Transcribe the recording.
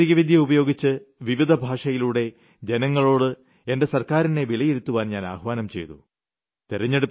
സാങ്കേതികവിദ്യ ഉപയോഗിച്ച് വിവിധ ഭാഷകളിലൂടെ ജനങ്ങളോട് എന്റെ സർക്കാരിനെ വിലയിരുത്തുവാൻ ഞാൻ ആഹ്വാനം ചെയ്തു